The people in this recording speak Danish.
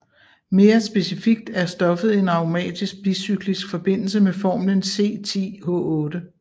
Mere specifikt er stoffet en aromatisk bicyklisk forbindelse med formlen C10H8